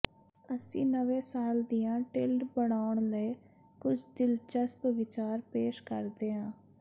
ਅਸੀਂ ਨਵੇਂ ਸਾਲ ਦੀਆਂ ਟਿਲਡ ਬਣਾਉਣ ਲਈ ਕੁਝ ਦਿਲਚਸਪ ਵਿਚਾਰ ਪੇਸ਼ ਕਰਦੇ ਹਾਂ